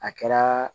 A kɛra